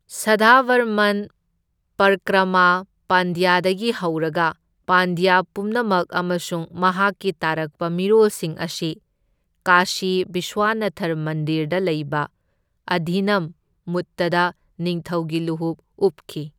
ꯁꯗꯥꯚꯔꯃꯟ ꯄꯔꯀ꯭ꯔꯥꯃ ꯄꯥꯟꯗ꯭ꯌꯗꯒꯤ ꯍꯧꯔꯒ ꯄꯥꯟꯗ꯭ꯌ ꯄꯨꯝꯅꯃꯛ ꯑꯃꯁꯨꯡ ꯃꯍꯥꯛꯀꯤ ꯇꯥꯔꯛꯄ ꯃꯤꯔꯣꯜꯁꯤꯡ ꯑꯁꯤ ꯀꯥꯁꯤ ꯕꯤꯁ꯭ꯋꯅꯊꯔ ꯃꯟꯗꯤꯔꯗ ꯂꯩꯕ ꯑꯙꯤꯅꯝ ꯃꯨꯠꯇꯗ ꯅꯤꯡꯊꯧꯒꯤ ꯂꯨꯍꯨꯞ ꯎꯞꯈꯤ꯫